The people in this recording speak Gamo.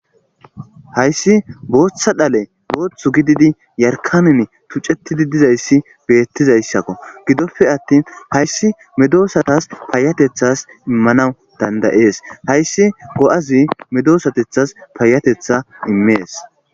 hayssi booththa dhale booththu gididi yarkanin tuccettidi dizayssi beettizayssakko gidoppe attin hayssi medoosatas paayatethas immanawu dandayees hayssi go7azi medoosatethas paayatetha immees